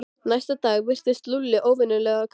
Næsta dag virtist Lúlli óvenju kátur.